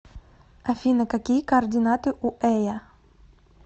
афина какие координаты у эя